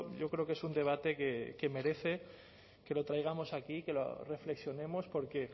yo creo que es un debate que merece que lo traigamos aquí que lo reflexionemos porque